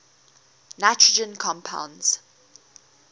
nitrogen compounds